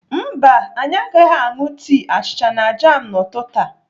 Mba anyị agaghị aṅụ tii, achịcha na jam n'ụtụtụ a.